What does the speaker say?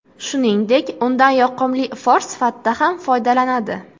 Shuningdek, undan yoqimli ifor sifatida ham foydalanadi.